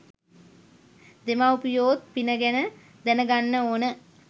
දෙමව්පියොත් පින ගැන දැනගන්න ඕන.